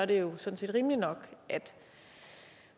det jo sådan set rimeligt nok at